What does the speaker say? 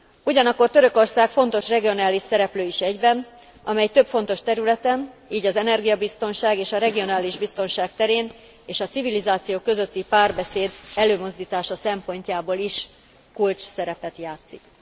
Ugyanakkor Törökország fontos regionális szereplő is egyben, amely több fontos területen, így az energiabiztonság és a regionális biztonság terén és a civilizációk közötti párbeszéd előmozdítása szempontjából is kulcsszerepet játszik.